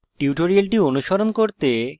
tutorial অনুসরণ করতে